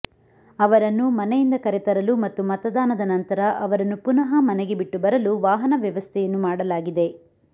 ಅವರನ್ನು ಮನೆಯಿಂದ ಕರೆತರಲು ಮತ್ತು ಮತದಾನದ ನಂತರ ಅವರನ್ನು ಪುನಃ ಮನೆಗೆ ಬಿಟ್ಟು ಬರಲು ವಾಹನ ವ್ಯವಸ್ಥೆಯನ್ನು ಮಾಡಲಾಗಿದೆ